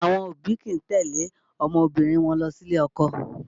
Àwọn òbí kìí tẹ̀lé ọmọbìnrin wọn lọ sí ilé ọkọ